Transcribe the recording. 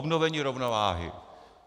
Obnovení rovnováhy.